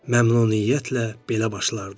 Məmnuniyyətlə belə başlardım.